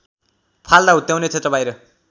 फाल्दा हुत्याउने क्षेत्रबाहिर